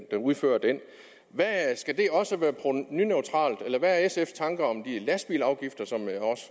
der udfører den skal det også være provenuneutralt eller hvad er sfs tanker om de lastbilafgifter som